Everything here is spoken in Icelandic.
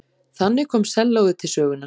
Þannig kom sellóið til sögunnar.